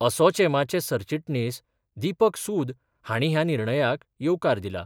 असोचेमाचे सरचिटणीस दिपक सूद हाणी ह्या निर्णयाक येवकार दिला.